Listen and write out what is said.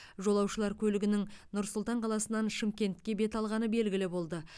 жолаушылар көлігінің нұр сұлтан қаласынан шымкентке бет алғаны белгілі болды